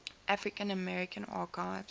african american archives